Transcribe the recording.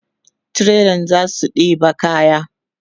trailan zasu ɗeba kayan